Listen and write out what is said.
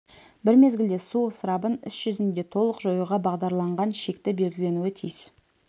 бір мезгілде су ысырабын іс жүзінде толық жоюға бағдарланған шекті белгіленуі тиіс